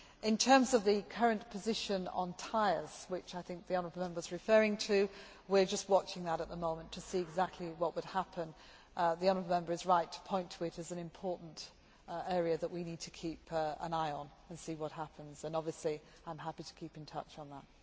In terms of the current position on tyres, which I think the honourable Member is referring to, we are just watching that at the moment to see exactly what will happen. The honourable Member is right to point to it as an important area that we need to keep an eye on and see what happens and obviously I am happy to keep in touch on that.